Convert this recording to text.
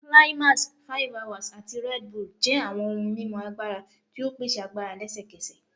Climax, 5hours, ati Red Bull jẹ awọn ohun mimu agbara ti o pese agbara lẹsẹkẹsẹ